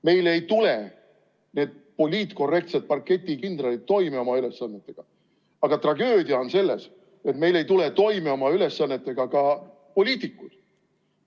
Meil ei tule need poliitkorrektsed parketikindralid oma ülesannetega toime, aga tragöödia on selles, et meil ei tule toime oma ülesannetega ka poliitikud.